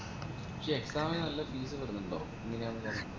ഈ exam ന് നല്ല fees വേരിന്നിണ്ടോ എങ്ങനെയാണ് കാര്യ